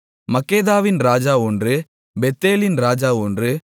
மக்கெதாவின் ராஜா ஒன்று பெத்தேலின் ராஜா ஒன்று